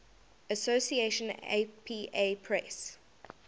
association apa press